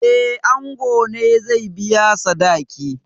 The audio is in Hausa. Eh, ango ne zai biya sadaki.